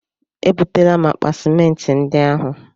E butela m akpa simenti ndị ahụ.